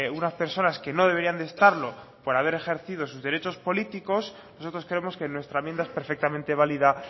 unas personas que no deberían de estarlo por haber ejercido sus derechos políticos nosotros creemos que nuestra enmienda es perfectamente válida